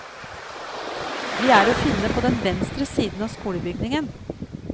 Vi er å finne på den venstre siden av skolebygningen.